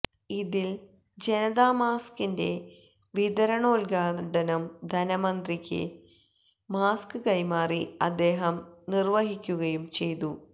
ഇതില് ജനതാ മാസ്ക്കിന്റെ വിതരണോദ്ഘാടനം ധനമന്ത്രിക്ക് മാസ്ക്ക് കൈമാറി അദ്ദേഹം നിര്വഹിക്കുകയും ചെയ്തു